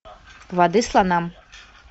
воды слонам